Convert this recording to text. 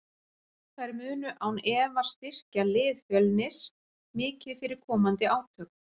Þær munu án efa styrkja lið Fjölnis mikið fyrir komandi átök.